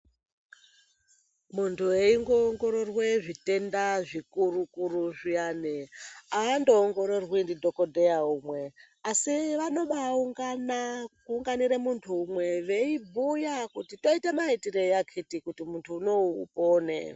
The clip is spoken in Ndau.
Muntu eiongororwe zvitenda zvikuru-kuru zviyani ,aandoongororwi ndidhokodheya umwe ,asi vanobaaungana, kuunganire muntu umwe veibhuya kuti toite maitirei akhiti kuti muntu unowu upone.